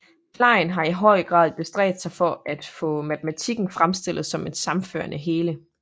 Klein har i høj grad bestræbt sig for at få Matematikken fremstillet som et sammenhørende hele